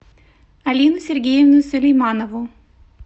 алину сергеевну сулейманову